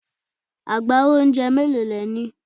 Agbawo oúnjẹ mélòó le ní?